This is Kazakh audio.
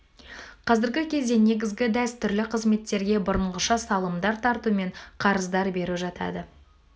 қазіргі кезде негізгі дәстүрлі қызметтерге бұрынғыша салымдар тарту мен қарыздар беру жатады